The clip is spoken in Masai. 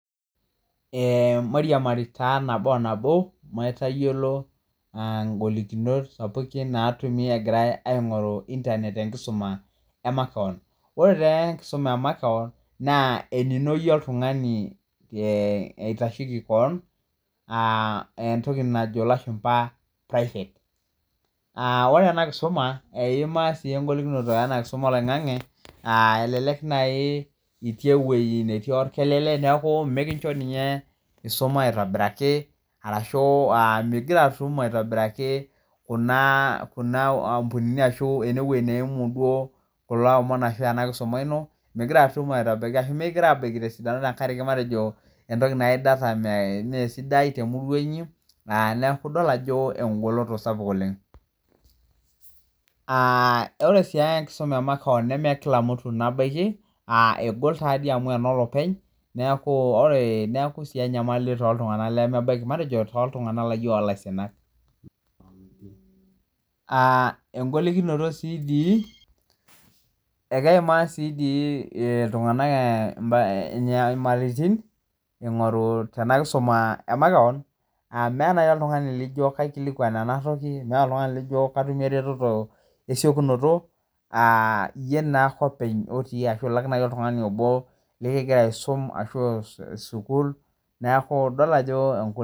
Ee mairiamari taa nabo o nabo, maitayiolo golikinot sapukin natumi egirai aing'oru internet tenkisuma emakeon. Ore tenkisuma emakeon, naa enino yie oltung'ani le oitasheki keon, ah entoki najo ilashumpa private. Ah ore enakisuma, eimaa si egolikinoto ena kisuma oloing'ang'e, ah elelek nai itii ewei netii orkelele, neeku mekincho ninye isuma aitobiraki, arashu migira atum aitobiraki kuna ampunini ashu enewoi neimu duo kulo omon ashu enakisuma ino, migira atum aitobiraki ashu mikigira abaiki tesidano tenkaraki matejo ore nai data mesidai temurua inyi, ah neku idol ajo egoloto sapuk oleng. Ah ore si enkisuma emakeon neme kila mtu nabaiki, ah egol tadi amu enolopeny, neeku ore neku si enyamali toltung'anak lemebaiki matejo toltung'anak laijo ilaisinak. Ah egolikinoto si dii, ekeimaa si dii iltung'anak inyamalitin, ing'oru tena kisuma emakeon, meeta nai oltung'ani lijo kaikilikwan enatoki, meeta oltung'ani lijo katumie ereteto esiokinoto, ah iyie naake openy otii ashu ilak nai oltung'ani obo likigira aisum, ashu sukuul, neeku idol ajo